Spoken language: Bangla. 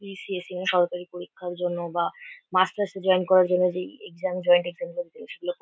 বি.সি.এস. এবং সরকারি পরীক্ষার জন্য বা মাস্টার্স -এ জয়েন করার জন্য যেই এক্সাম জয়েন্ট এক্সাম গুলো বসলে--